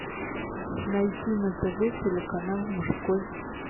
найти на тв телеканал мужской